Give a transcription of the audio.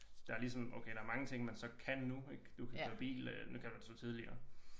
Der er ligesom okay der er mange ting man så kan nu ik du kan køre bil nu kan du så tidligere